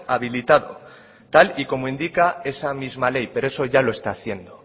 habilitado tal y como indica esa misma ley pero eso ya lo está haciendo